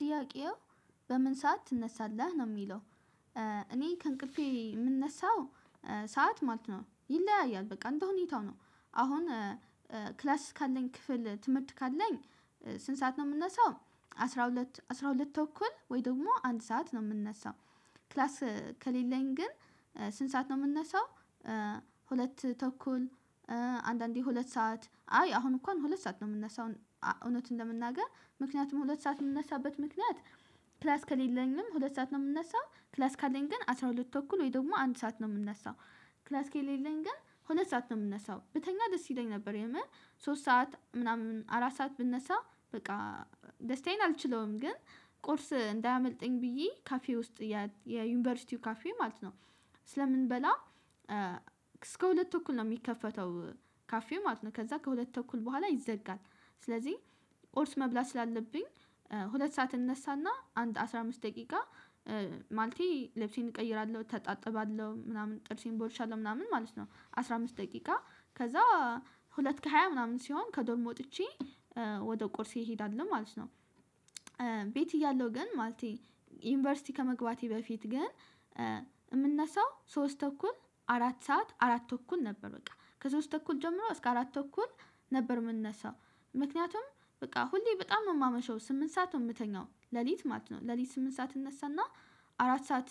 ጥያቄው በምን ሰዓት ትነሳለህ ነው የሚለው? እኔ ከእንቅፌ የምነሳው። ሰዓት ማለት ነው ይለያያል በቃ እንደ ሁኔታው ነው። አሁን ክላስ ካለኝ ክፍል ትምህርት ካለኝ ስንት ሰዓት ነው የምነሳው? አስራ ሁለት አስራ ሁለት ተኩል ወይ ደግሞ አንድ ሰዓት ነው የምነሳው። ክላስ ከሌለኝ ግን ስንት ሰዓት ነው የምነሳው? ሁለት ተኩል። አንዳንዴ ሁለት ሰዓት አይ አሁን እንኳን ሁለት ሰዓት ነው የምነሳው። እውነቱን ለመናገር ምክንያቱም ሁለት ሰዓት የምነሳበት ምክንያት። ክላስ ከሌለኝም ሁለት ሰዓት ነው የምነሳው። ክላስ ካለኝ ግን አስራ ሁለት ተኩል ወይ ደግሞ አንድ ሰዓት ነው የምነሳው። ክላስ ከሌለኝ ግን ሁለት ሰዓት ነው የምነሳው። ብተኛ ደስ ይለኝ ነበር የምር። ሶስት ሰዓት ምናምን አራት ሰዓት ብነሳ በቃ ደስታዬን አልችለውም። ግን ቁርስ እንዳያመልጠኝ ብዬ ካፌ ውስጥ የዩኒቨርሲቲው ካፌ ማለት ነው። ስለምንበላ እስከ ሁለት ተኩል ነው የሚከፈተው። ካፌ ማለት ነው ከዛ ከሁለት ተኩል በኋላ ይዘጋል። ስለዚህ ቁርስ መብላት ስላለብኝ ሁለት ሰዓት እነሳና አንድ አስራ አምስት ደቂቃ። ማለቴ ልብሴን እቀይራለሁ እተጣጠባለሁ ምናምን ጥርሴን ቦርሻለሁ ምናምን ማለት ነው። አስራ አምስት ደቂቃ ከዛ ሁለት ከሃያ ምናምን ሲሆን ከዶም ወጥቼ። ወደ ቁርሴ እሄዳለሁ ማለት ነው። ቤት እያለሁ ግን ማለቴ ዩኒቨርሲቲ ከመግባቴ በፊት ግን የምነሳው ሶስት ተኩል አራት ሰዓት አራት ተኩል ነበር። በቃ ከሶስት ተኩል ጀምሮ እስከ አራት ተኩል ነበር የምነሳው። ምክንያቱም በቃ ሁሌ በጣም ነው የማመሸው ስምንት ሰዓት ነው የምተኛው ሌሊት ማለት ነው። ሌሊት ስምንት ሰዓት እነሳና አራት ሰዓት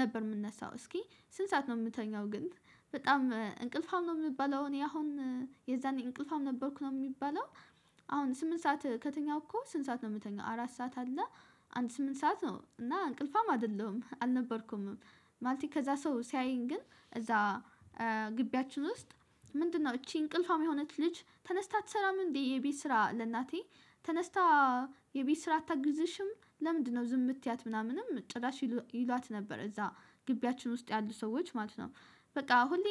ነበር የምነሳው። እስኪ ስንት ሰዓት ነው የምተኛው? ግን በጣም እንቅልፉም ነው የምባለው እኔ አሁን የዛኔ እንቅልፋም ነበርኩ ነው የሚባለው። አሁን ስምንት ሰዓት ከተኛሁ እኮ ስንት ሰዓት ነው የምተኛው? አራት ሰዓት አለ አንድ ስምንት ሰዓት ነው እና እንቅልፋም አይደለሁም አልነበርኩምም። ማለቴ ከዛ ሰው ሲያየኝ ግን እዛ ግቢያችን ውስጥ ምንድነው እቺ እንቅልፏም የሆነች ልጅ ተነስታ አትሰራም እንዴ? የቤት ስራ ለእናቴ ተነስታ የቤት ስራ አታግዝሽም ለምንድነው ዝም የምትያት ምናምንም ጭራሽ ይሏት ነበር። እዛ ግቢያችን ውስጥ ያሉ ሰዎች ማለት ነው። በቃ ሁሌ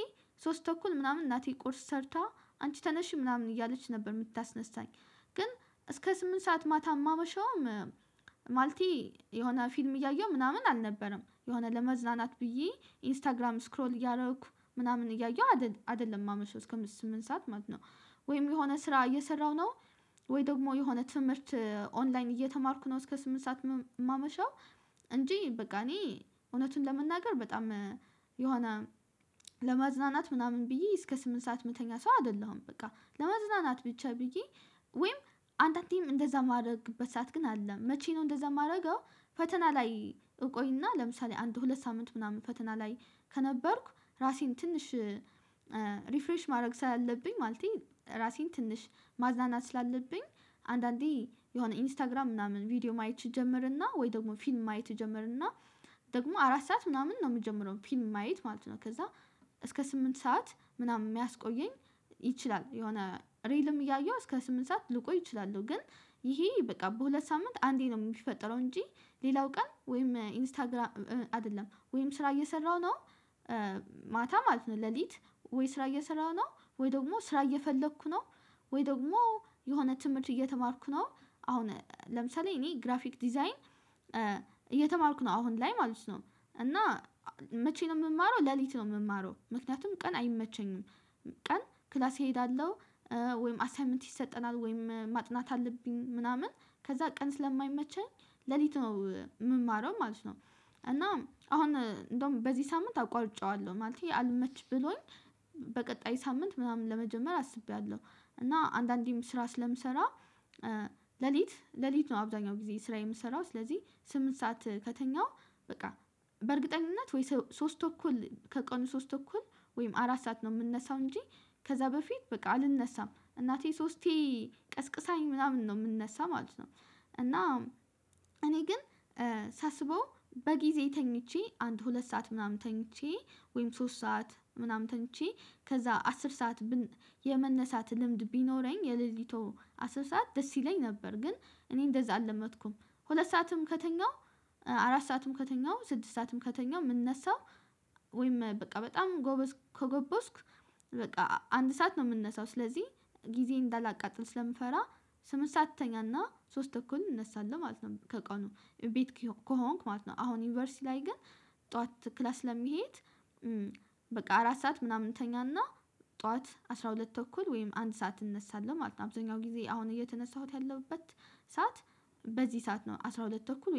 ሶስት ተኩል ምናምን እናቴ ቁርስ ሰርታ አንቺ ተነሺ ምናምን እያለች ነበር የምታስነሳኝ። ግን እስከ ስምንት ሰዓት ማታ የማመሸውም ማለቴ የሆነ ፊልም እያየሁ ምናምን አልነበረም። የሆነ ለመዝናናት ብዬ ኢንስታግራም ስክሮል እያደረኩ ምናምን እያየሁ አይደለም የማመሸው እስከ ስምንት ሰዓት ማለት ነው። ወይም የሆነ ስራ እየሰራሁ ነው። ወይ ደግሞ የሆነ ትምህርት ኦንላይን እየተማርኩ ነው እስከ ስምንት ሰዓት የማመሻው። እንጂ በቃ እኔ እውነቱን ለመናገር በጣም የሆነ ለማዝናናት ምናምን ብዬ እስከ ስምንት ሰዓት የምተኛ ሰው አይደለሁም። በቃ ለመዝናናት ብቻ ብዬ ወይም አንዳንዴም እንደዛ የማደርግበት ሰዓት ግን አለ። መቼ ነው እንደዛ የማደርገው? ፈተና ላይ እቆይና ለምሳሌ አንድ ሁለት ሳምንት ምናምን ፈተና ላይ ከነበርኩ ራሴን ትንሽ ሪፍሬሽ ማድረግ ስላለብኝ። ማለቴ ራሴን ትንሽ ማዝናናት ስላለብኝ። አንዳንዴ የሆነ ኢንስታግራም ምናምን ቪዲዮ ማየት እጀመርና ወይ ደግሞ ፊልም ማየት እጀመርና። ደግሞ አራት ሰዓት ምናምን ነው የምጀምረው ፊልም ማየት ማለት ነው ከዛ እስከ ስምንት ሰዓት ምናምን የሚያስቆየኝ። ይችላል የሆነ ሪልም እያየሁ እስከ ስምንት ሰዓት ልቆይ እችላለሁ። ግን ይሄ በቃ በሁለት ሳምንት አንዴ ነው የሚፈጠረው። እንጂ ሌላው ቀን ወይም ኢንስታግራም አይደለም ወይም ስራ እየሰራሁ ነው። ማታ ማለት ነው ሌሊት ወይ ስራ እየሰራሁ ነው ወይ ደግሞ ስራ እየፈለኩ ነው። ወይ ደግሞ የሆነ ትምህርት እየተማርኩ ነው። አሁን ለምሳሌ እኔ ግራፊክ ዲዛይን እየተማርኩ ነው አሁን ላይ ማለት ነው። እና መቼ ነው የምማረው? ሌሊት ነው የምማረው ምክንያቱም ቀን አይመቸኝም። ቀን ክላስ እሄዳለሁ። ወይም አሳይመንት ይሰጠናል ወይም ማጥናት አለብኝ ምናምን ከዛ ቀን ስለማይመቸኝ ሌሊት ነው የምማረው ማለት ነው። እና አሁን እንደውም በዚህ ሳምንት አቋርጨዋለሁ ማለት አልመች ብሎኝ በቀጣይ ሳምንት ምናምን ለመጀመር አስቤያለሁ። እና አንዳንዴም ስራ ስለምሰራ። ሌሊት ሌሊት ነው አብዛኛው ስራ የምትሰራው ስለዚህ ስምንት ሰዓት ከተኛሁ። በቃ በእርግጠኝነት ወይ ሶስት ተኩል ከቀኑ ሶስት ተኩል ወይም አራት ሰዓት ነው የምነሳው እንጂ። ከዛ በፊት በቃ አልነሳም እናቴ ሶስቴ ቀስቅሳኝ ምናምን ነው የምነሳ ማለት ነው። እና እኔ ግን ሳስበው በጊዜ ተኝቼ አንድ ሁለት ሰዓት ምናምን ተኝቼ ወይም ሶስት ሰዓት ምናምን ተኝቼ ከዛ አስር ሰዓት የመነሳት ልምድ ቢኖረኝ የሌሊቱ አስር ሰዓት ደስ ይለኝ ነበር። ግን እኔ እንደዛ አልለመድኩም። ሁለት ሰዓትም ከተኛሁ አራት ሰዓትም ከተኛው ስድስት ሰዓትም ከተኛው የምነሳው። ወይም በቃ በጣም ጎበዝ ከጎበዝኩ በቃ አንድ ሰዓት ነው የምነሳው። ስለዚህ ጊዜ እንዳላቃጥል ስለምፈራ። ስምንት ሰዓት እተኛና ሶስት ተኩል እነሳለሁ ማለት ነው። ከቀኑ ቤት ከሆንኩ ማለት ነው አሁን ዩኒቨርሲቲ ላይ ግን ጠዋት ክላስ ስለምሄድ። በቃ አራት ሰዓት ምናምን ተኛና ጠዋት አስራ ሁለት ተኩል ወይም አንድ ሰዓት እነሳለሁ ማለት ነው። አብዛኛው ጊዜ አሁን እየተነሳሁት ያለሁበት ሰዓት በዚህ ሰዓት ነው አስራ ሁለት ተኩል